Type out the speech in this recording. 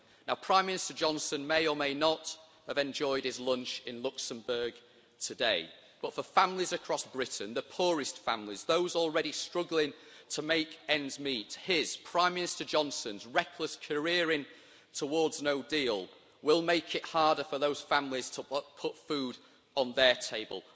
Now Prime Minister Johnson may or may not have enjoyed his lunch in Luxembourg today, but for families across Britain, the poorest families, those already struggling to make ends meet, his, Prime Minister Johnson's, reckless careering towards a no deal will make it harder for those families to put food on their table.